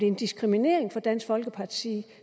en diskrimination fra dansk folkepartis side